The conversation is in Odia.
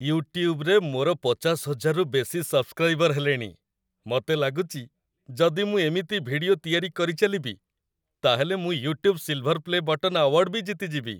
ୟୁଟ୍ୟୁବ୍‌ରେ ମୋର ୫୦,୦୦୦ରୁ ବେଶି ସବସ୍କ୍ରାଇବର ହେଲେଣି । ମତେ ଲାଗୁଚି ଯଦି ମୁଁ ଏମିତି ଭିଡିଓ ତିଆରି କରିଚାଲିବି, ତା'ହେଲେ ମୁଁ "YouTube silver play' button" award ବି ଜିତିଯିବି ।